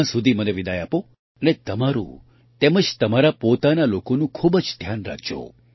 ત્યાં સુધી મને વિદાય આપો અને તમારું તેમજ તમારા પોતાના લોકોનું ખૂબ જ ધ્યાન રાખજો